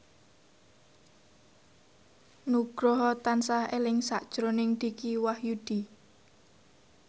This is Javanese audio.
Nugroho tansah eling sakjroning Dicky Wahyudi